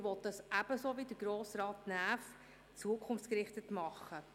Er will dies, ebenso wie Grossrat Näf, zukunftsgerichtet tun.